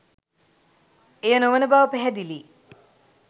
එය නොවන බව පැහැදිලියි.